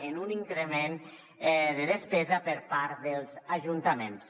amb un increment de despesa per part dels ajuntaments